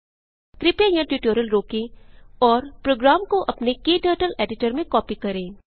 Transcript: कृपया यहाँ ट्यूटोरियल रोकें और प्रोग्राम को अपने क्टर्टल एडिटर में कॉपी करें